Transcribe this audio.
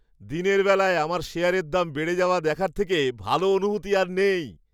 দিনের বেলায় আমার শেয়ারের দাম বেড়ে যাওয়া দেখার থেকে ভালো অনুভূতি আর নেই।